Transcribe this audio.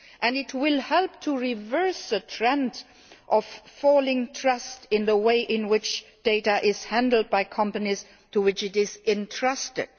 It will help reverse the trend of falling trust in the way in which data is handled by companies to which it is entrusted.